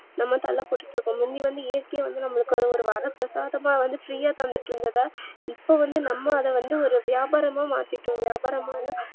நாம வந்து தள்ள பட்டு இருக்கோம் முந்தி வந்து இயற்கியா வந்து நமக்காக ஒரு வரத்த பிரசாதமா free யா தந்துட்டு இருந்ததா இப்ப வந்து நம்ம ஒரு வியாபாரமா மாத்திட்டோம் வியாபாரமான